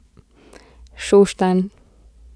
Šoštanj.